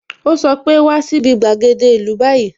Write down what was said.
O sọ pe "wá sí bi gbàgede ìlú báyìí"